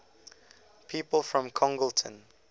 people from congleton